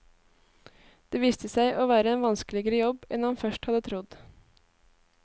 Det viste seg å være en vanskeligere jobb enn han først hadde trodd.